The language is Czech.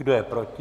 Kdo je proti?